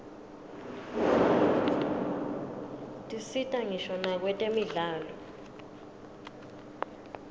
tisita ngisho nakwetemidlalo